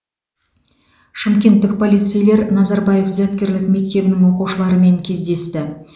шымкенттік полицейлер назарбаев зияткерлік мектебінің оқушыларымен кездесті